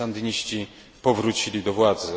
Sandyniści powrócili do władzy.